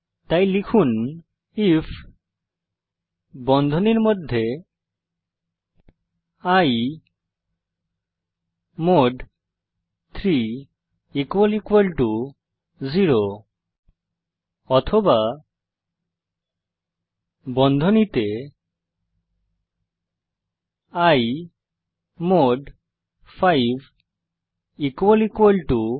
তাই লিখুন আইএফ বন্ধনীর মধ্যে i মদ 3 0 অথবা বন্ধনীতে i মদ 5 0